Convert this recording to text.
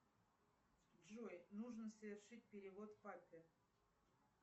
джой нужно совершить перевод папе